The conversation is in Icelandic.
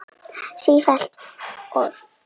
Síðari hluti